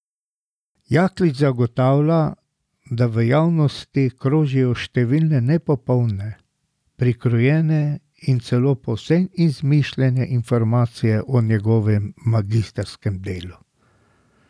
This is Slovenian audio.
Jaklič zagotavlja, da v javnosti krožijo številne nepopolne, prikrojene in celo povsem izmišljene informacije o njegovem magistrskem delu.